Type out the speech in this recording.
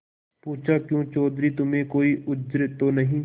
पूछाक्यों चौधरी तुम्हें कोई उज्र तो नहीं